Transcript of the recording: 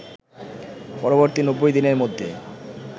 পরবর্তী ৯০ দিনের মধ্যে